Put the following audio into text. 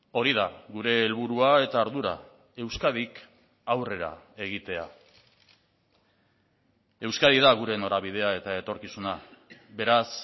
hori da gure helburua eta ardura euskadik aurrera egitea euskadi da gure norabidea eta etorkizuna beraz